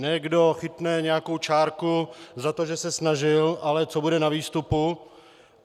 Ne kdo chytne nějakou čárku za to, že se snažil, ale co bude na výstupu.